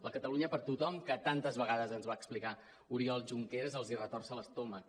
la catalunya per tothom que tantes vegades ens va explicar oriol junqueras els retorça l’estomac